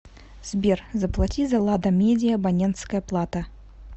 сбер заплати за лада медиа абонентская плата